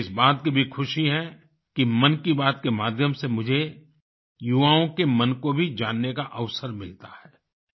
मुझे इस बात की भी खुशी है कि मन की बात के माध्यम से मुझे युवाओं के मन को भी जानने का अवसर मिलता है